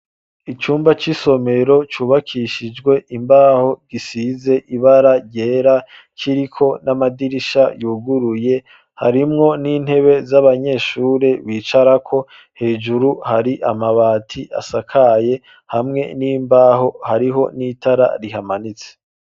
Icumba c'isomero cubakishijwe imbaho gisize ibara ryera kiriko n'amadirisha yuguruye harimwo n'intebe z'abanyeshuri bicarako hejuru hari amabati asakaye hamwe n'imbaho hariho n'itara rihamanitse.